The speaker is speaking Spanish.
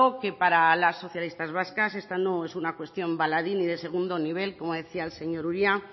que para las socialistas vascas esta no es una cuestión baladí ni de segundo nivel como decía el señor uria